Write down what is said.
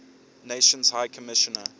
nations high commissioner